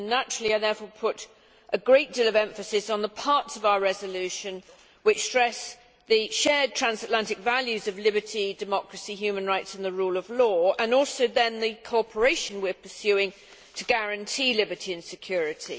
Naturally, therefore, I put a great deal of emphasis on the parts of our resolution which stress the shared transatlantic values of liberty, democracy, human rights and the rule of law, and also the cooperation we are pursuing to guarantee liberty and security.